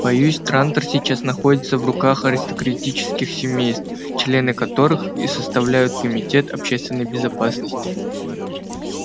боюсь трантор сейчас находится в руках аристократических семейств члены которых и составляют комитет общественной безопасности